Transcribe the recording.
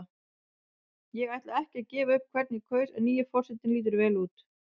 Ég ætla ekki að gefa upp hvern ég kaus en nýi forsetinn lítur vel út.